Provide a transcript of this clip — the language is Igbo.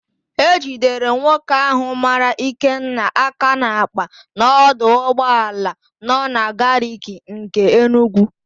E jidere nwoke ahụ mara Ikenna aka n'àkpà n'ọdụ ụgbọala nọ na Gariki nke Enugwu.